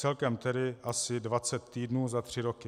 Celkem tedy asi 20 týdnů za tři roky.